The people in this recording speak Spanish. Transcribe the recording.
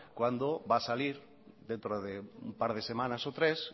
cuando va a salir dentro de un par de semanas o tres